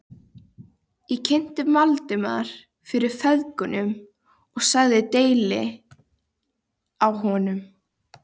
Ég kynnti Valdimar fyrir feðgunum og sagði deili á honum.